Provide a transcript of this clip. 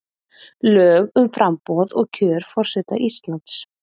Lög um framboð og kjör forseta Íslands